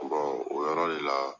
o yɔrɔ le la